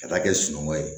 Ka taa kɛ sunɔgɔ ye